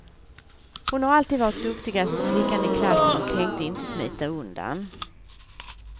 Hon har alltid varit duktigaste flickan i klassen och tänkte inte smita undan.